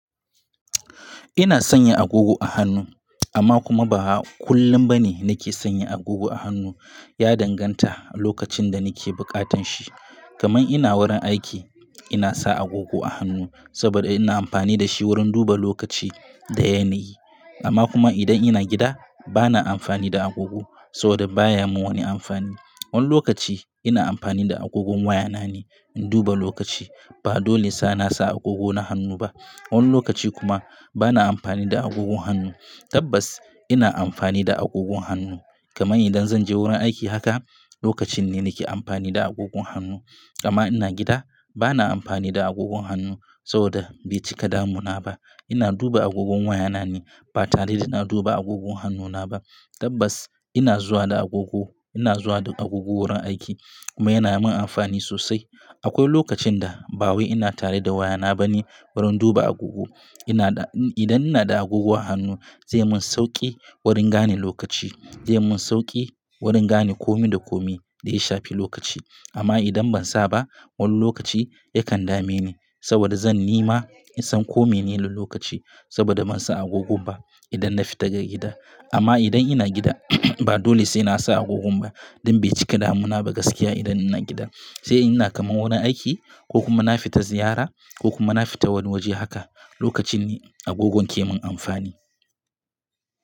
Ina sanya agogo a hannu, amma kuma ba kullum bane nake sanya agogo a hannu. Ya danganta lokacin da nake bukatan shi. Kaman ina wurin aiki, ina sa agogo a hannu, saboda ina amfani da shi wurin duba lokaci da yanayi. Amma kuma idan ina gida, bana amfani da agogo saboda baya mun wani amfani. Wani lokaci, ina amfani da agogon waya na ne in duba lokaci, ba dole sai nasa agogo na hannu ba. Wani lokaci kuma bana amfani da agogon hannu. Tabbas ina amfani da agogon hannu. Kaman idan zan je wurin aiki haka, lokacin ne nake amfani da agogon hannu. Amma ina gida bana amfani da agogon hannu saboda bai cika damuna ba. Ina duba agogon waya na ne, ba tare da ina duba agogon hannuna ba. Tabbas ina zuwa da agogo, ina zuwa da agogo wurin aiki, kuma yana min amfani sosai. Akwai lokacin da ba wai ina tare da waya na bane wurin duba agogo. Ina da, idan ina da agogo a hannu zai mun sauki wurin gane lokaci, zai mun sauki wurin gane komi da komi, da ya shafi lokaci. Amma idan ban sa ba wani lokaci yakan dame ni, saboda zan nema in san kome ne ne lokaci, saboda ban sa agogon ba idan na fita daga gida. Amma idan ina gida ba dole sai nasa agogon ba, don bai cika damuna ba gaskiya idan ina gida. Sai ina kaman wurin aiki ko kuma na fita ziyara ko kuma na fita wani waje haka lokacin ne agogon ke mun amfani.